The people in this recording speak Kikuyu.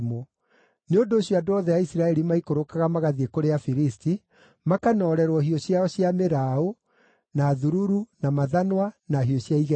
Nĩ ũndũ ũcio andũ othe a Isiraeli maikũrũkaga magathiĩ kũrĩ Afilisti, makanoorerwo hiũ ciao cia mĩraũ, na thururu, na mathanwa, na hiũ cia igetha.